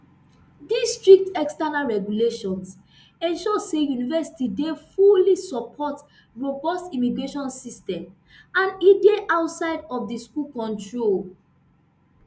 these strict external regulations ensure say university dey fully support robust immigration system and e dey outside of di university control